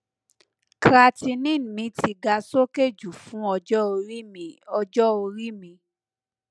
creatinine mi ti ga sókè jù fún ọjọ orí mi ọjọ orí mi